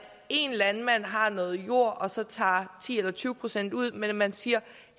en landmand har noget jord og så tager ti eller tyve procent ud men hvor man siger